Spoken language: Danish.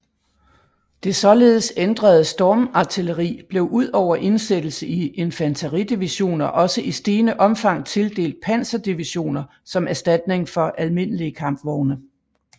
Det således ændrede stormartilleri blev udover indsættelse i infanteridivisioner også i stigende omfang tildelt panserdivisioner som erstatning for almindelige kampvogne